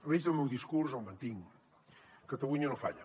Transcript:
l’eix del meu discurs el mantinc catalunya no falla